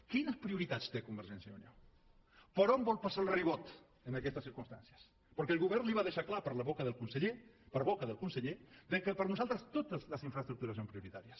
quines prioritats té convergència i unió per on vol passar el ribot en aquestes circumstàncies perquè el govern li va deixar clar per boca del conseller que per nosaltres totes les infraestructures són prioritàries